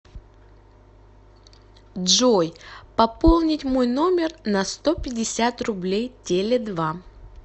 джой пополнить мой номер на сто пятьдесят рублей теле два